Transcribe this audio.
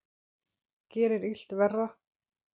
Gerir illt verra.